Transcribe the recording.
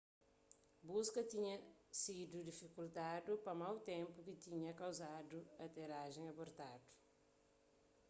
buska tinha sidu difikultadu pa mau ténpu ki tinha kauzadu aterajen abortadu